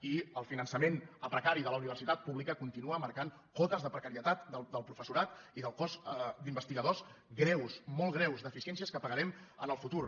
i el finançament a pre·cari de la universitat pública continua marcant cotes de precarietat del professorat i del cos d’investigadors greus molt greus deficiències que pagarem en el futur